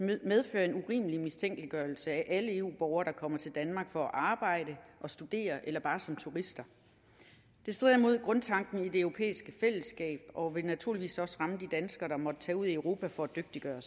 medføre en urimelig mistænkeliggørelse af alle eu borgere der kommer til danmark for at arbejde og studere eller bare som turister det strider imod grundtanken i det europæiske fællesskab og vil naturligvis også ramme de danskere der måtte tage ud i europa for at dygtiggøre